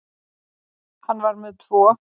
Hann var með tvo.